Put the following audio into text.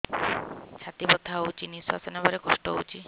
ଛାତି ବଥା ହଉଚି ନିଶ୍ୱାସ ନେବାରେ କଷ୍ଟ ହଉଚି